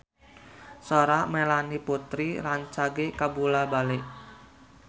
Sora Melanie Putri rancage kabula-bale